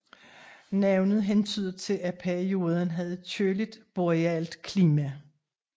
Navnet hentyder til at perioden havde køligt borealt klima